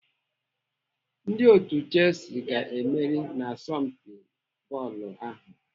Ndị otu Chelsea ga-emeri n'asompi bọọlụ ahu.